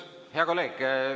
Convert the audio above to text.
Hea kolleeg!